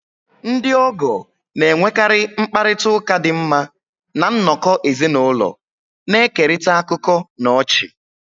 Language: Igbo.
Ndị ogoo na-enwekarị mkparịta ụka dị mma na nnọkọ ezinụlọ, na-ekerịta akụkọ na ọchị.